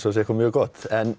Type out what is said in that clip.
sé eitthvað mjög gott en